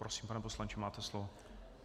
Prosím, pane poslanče, máte slovo.